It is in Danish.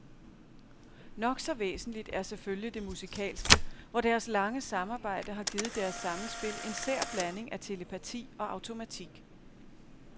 Nok så væsentligt er selvfølgelig det musikalske, hvor deres lange samarbejde har givet deres sammenspil en sær blanding af telepati og automatik.